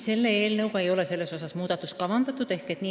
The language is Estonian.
Selle eelnõu kohaselt ei ole selles osas muudatust kavandatud.